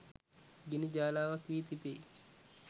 ගිනි ජාලාවක් වී තිබේ